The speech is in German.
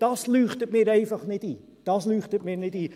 Das leuchtet mir einfach nicht ein, das leuchtet mir nicht ein!